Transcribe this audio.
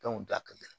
da ka gɛlɛn